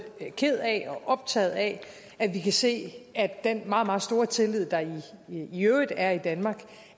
ked af og optaget af at vi kan se at den meget meget store tillid der i øvrigt er i danmark